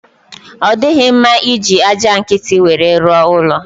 Ọ dighị mma iji aja nkiti nwere rụọ ụlọ